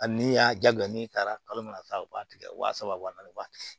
A ni y'a jagoya n'i taara kalo mana taa u b'a tigɛ wa saba wa naani ba